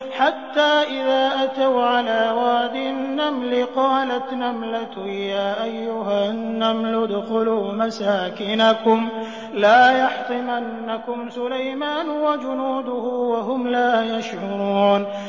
حَتَّىٰ إِذَا أَتَوْا عَلَىٰ وَادِ النَّمْلِ قَالَتْ نَمْلَةٌ يَا أَيُّهَا النَّمْلُ ادْخُلُوا مَسَاكِنَكُمْ لَا يَحْطِمَنَّكُمْ سُلَيْمَانُ وَجُنُودُهُ وَهُمْ لَا يَشْعُرُونَ